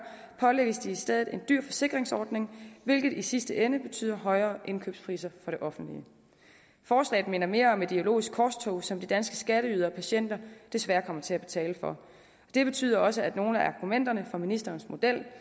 pålægges de i stedet en dyr forsikringsordning hvilket i sidste ende betyder højere indkøbspriser for det offentlige forslaget minder mere om et ideologisk korstog som de danske skatteydere og patienter desværre kommer til at betale for det betyder også at nogle af argumenterne for ministerens model